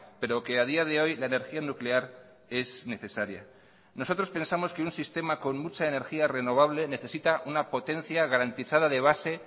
pero que a día de hoy la energía nuclear es necesaria nosotros pensamos que un sistema con mucha energía renovable necesita una potencia garantizada de base